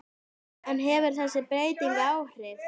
En hefur þessi breyting áhrif?